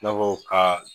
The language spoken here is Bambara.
I n'a fɔ ka